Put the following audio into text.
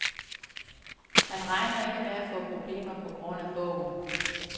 Han regner ikke med at få problemer på grund af bogen.